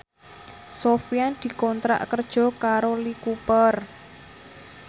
Sofyan dikontrak kerja karo Lee Cooper